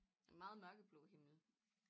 En meget mørkeblå himmel